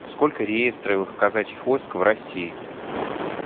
сколько реестровых казачьих войск в россии